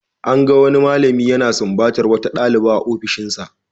An gan wani malami yana sumbatar wata dalibi a ofishinsa.